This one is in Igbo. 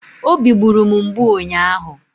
Obi gburu m mgbu ụnyaahụ